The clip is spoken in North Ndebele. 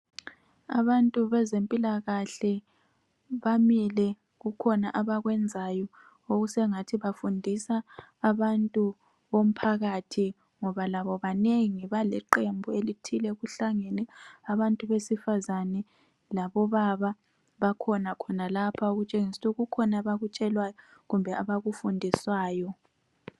Abantu bezempilakahle bamile, kukhona abakwenzayo okusengathi bafundisa abantu bomphakathi ngoba labo banengi baliqembu elithile kuhlangene abantu besifazane labobaba bakhona khonalapha . Okutshengisa ukuthi kukhona abakutshelwayo kumbe abakufundiswayo.